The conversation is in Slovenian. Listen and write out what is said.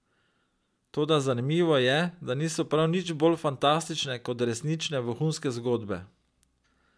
Toda zanimivo je, da niso prav nič bolj fantastične kot resnične vohunske zgodbe.